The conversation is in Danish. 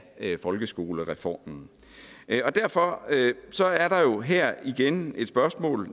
folkeskolereformen derfor er der jo her igen et spørgsmål